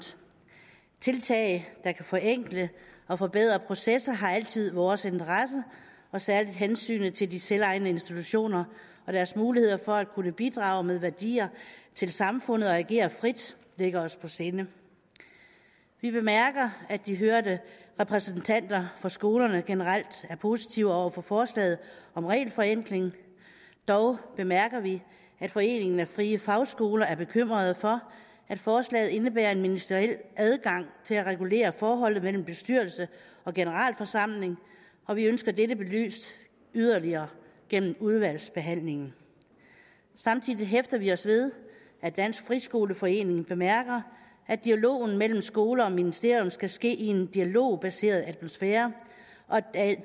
tiltag der kan forenkle og forbedre processer har altid vores interesse og særlig hensynet til de selvejende institutioner og deres muligheder for at kunne bidrage med værdier til samfundet og agere frit ligger os på sinde vi bemærker at de hørte repræsentanter for skolerne generelt er positive over for forslaget om regelforenkling dog bemærker vi at foreningen af frie fagskoler er bekymrede for at forslaget indebærer en ministeriel adgang til at regulere forholdet mellem bestyrelse og generalforsamling og vi ønsker dette belyst yderligere gennem udvalgsbehandlingen samtidig hæfter vi os ved at dansk friskoleforening bemærker at dialogen mellem skoler og ministerium skal ske i en dialogbaseret atmosfære og at